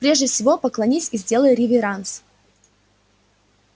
прежде всего поклонись и сделай реверанс